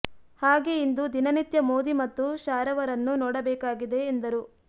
ಹಾಗೆ ಇಂದು ದಿನನಿತ್ಯ ಮೋದಿ ಮತ್ತು ಶಾರವರನ್ನ ನೋಡ ಬೇಕಾಗಿದೆ ಎಂದರು